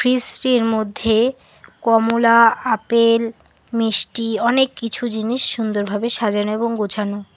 Fridge -টির মধ্যে কমলা আপেল মিষ্টি অনেক কিছু জিনিস সুন্দরভাবে সাজানো এবং গুছানো।